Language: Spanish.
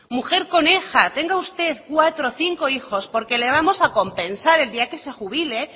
mujer coneja tenga usted cuatro o cinco hijos porque le vamos a compensar el día en que se jubile